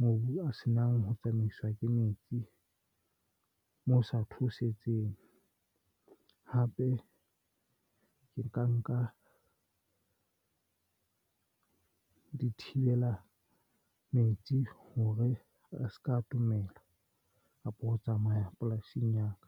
mobu a senang ho tsamaiswa ke metsi. Moo ho sa theoseditseng hape ke nka nka dithibela metsi hore a se ka atomela kapa ho tsamaya polasing ya ka.